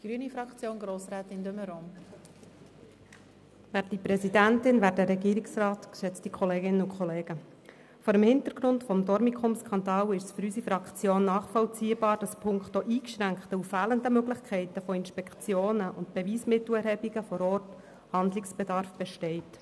Vor dem Hintergrund des Dormicum-Skandals ist es für unsere Fraktion nachvollziehbar, dass punkto eingeschränkter und fehlender Möglichkeiten von Inspektionen und Beweismittelerhebungen vor Ort Handlungsbedarf besteht.